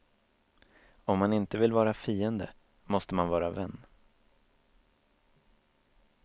Om man inte vill vara fiende, måste man vara vän.